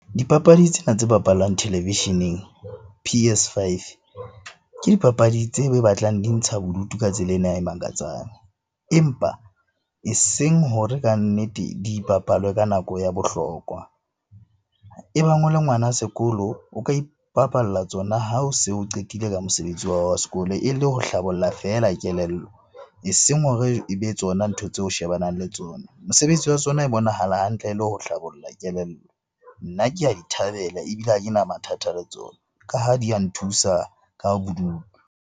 Dipapadi tsena tse bapalwang televisheneng P_S five. Ke dipapadi tse batlang di ntsha bodutu ka tsela ena ya e makatsang empa eseng hore kannete di bapalwe ka nako ya bohlokwa. E bang o le ngwana sekolo, o ka ipapalla tsona ha o se o qetile ka mosebetsi wa hao wa sekolo e le ho hlabolla feela kelello. Eseng hore e be tsona ntho tseo o shebanang le tsona. Mosebetsi wa tsona e bonahala hantle le ho hlabolla kelello. Nna ke a di thabela ebile ha ke na mathata le tsona ka ha di a nthusa ka bodutu.